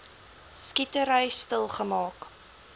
skietery stil geraak